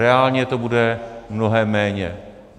Reálně to bude mnohem méně.